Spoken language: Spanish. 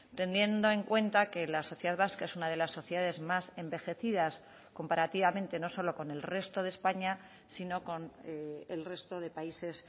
teniendo en cuenta que la sociedad vasca es una de las sociedades más envejecidas comparativamente no solo con el resto de españa sino con el resto de países